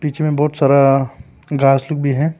इसमें बहुत सारा घास लोग भी है।